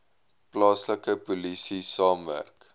plaaslike polisie saamwerk